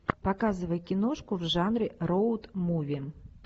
показывай киношку в жанре роуд муви